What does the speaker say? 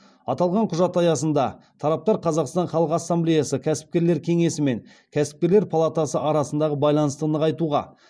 аталған құжат аясында тараптар қазақстан халық ассамблеясы кәсіпкерлер кеңесі мен кәсіпкерлер палатасы арасындағы байланысты нығайтуға